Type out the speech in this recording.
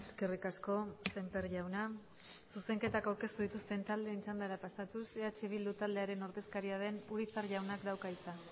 eskerrik asko sémper jauna zuzenketak aurkeztu dituzten taldeen txandara pasatuz eh bildu taldearen ordezkaria den urizar jaunak dauka hitza